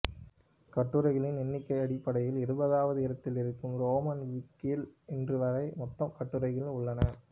கட்டுரைகளின் எண்ணிக்கை அடிப்படையில் இருபதாவது இடத்தில் இருக்கும் ரோமன் விக்கியில் இன்று வரை மொத்தம் கட்டுரைகள் உள்ளன